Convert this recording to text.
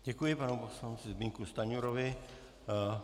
Děkuji panu poslanci Zbyňku Stanjurovi.